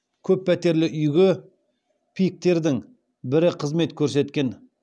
көппәтерлі үйге пик тердің бірі қызмет көрсеткен